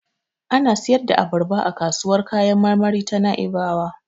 Ana siyar da abarba a kasuwar kayan marmari ta Na'ibawa.